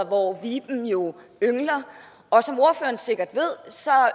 hvor viben jo yngler og som ordføreren sikkert ved